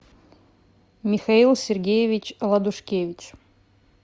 михаил сергеевич ладушкевич